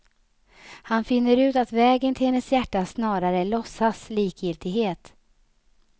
Han finner ut att vägen till hennes hjärta snarare är låtsad likgiltighet.